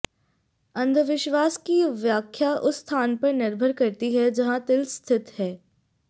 अंधविश्वास की व्याख्या उस स्थान पर निर्भर करती है जहां तिल स्थित है